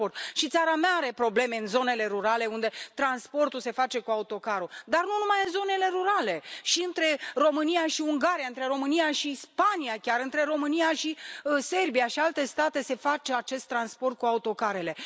Și țara mea are probleme în zonele rurale, unde transportul se face cu autocarul, dar nu numai în zonele rurale și între România și Ungaria, între România și Spania, chiar între România și Serbia și alte state se face acest transport cu autocarele.